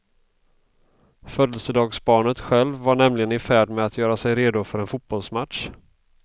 Födelsedagsbarnet själv var nämligen ifärd med att göra sig redo för en fotbollsmatch.